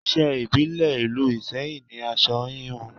Iṣẹ́ ìbílẹ̀ ìlú Iseyin ni aṣọ híhun